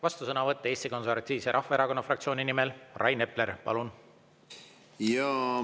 Vastusõnavõtt Eesti Konservatiivse Rahvaerakonna fraktsiooni nimel, Rain Epler, palun!